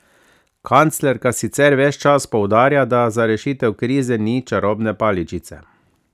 Kanclerka sicer ves čas poudarja, da za rešitev krize ni čarobne paličice.